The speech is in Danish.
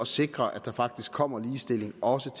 sikre at der faktisk kommer ligestilling også